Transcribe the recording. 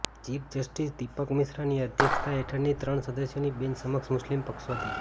chief justice Deepak મિશ્રાની અધ્યક્ષતા હેઠળની ત્રણ સદસ્યોની બેન્ચ સમક્ષ મુસ્લિમ પક્ષવતી